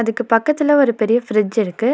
அதுக்கு பக்கத்துல ஒரு பெரிய ஃபிரிட்ஜ் இருக்கு.